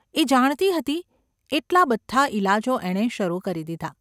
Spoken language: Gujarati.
એ જાણતી હતી એટલા બધા ઈલાજો એણે શરૂ કરી દીધા.